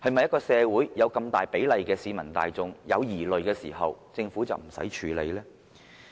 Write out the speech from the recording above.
在社會上有這麼大比例的市民大眾有疑慮時，政府是否不用處理呢？